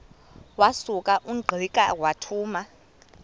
wasuka ungqika wathuma